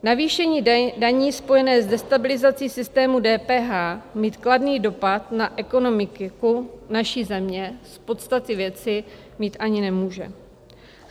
Navýšení daní spojené s destabilizací systému DPH mít kladný dopad na ekonomiku naší země z podstaty věci mít ani nemůže.